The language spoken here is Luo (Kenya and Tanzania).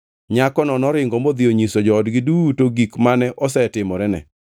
Nyakono noringo modhi onyiso joodgi duto gik mane osetimorene.